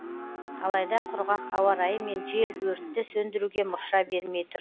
алайда құрғақ ауа райы мен жел өртті сөндіруге мұрша бермей тұр